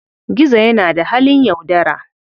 Gizo yana da halin yaudara.